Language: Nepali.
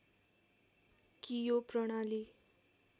कि यो प्रणाली